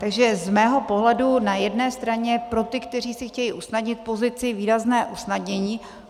Takže z mého pohledu na jedné straně pro ty, kteří si chtějí usnadnit pozici, výrazné usnadnění.